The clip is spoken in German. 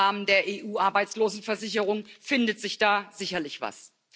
Im Rahmen der EU Arbeitslosenversicherung findet sich da sicherlich was.